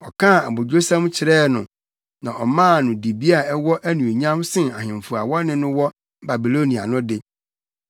Ɔkaa abodwosɛm kyerɛɛ no, na ɔmaa no dibea a ɛwɔ anuonyam sen ahemfo a wɔne no wɔ Babilonia no de.